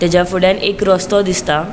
तेचा फुड्यान एक रस्तों दिसता.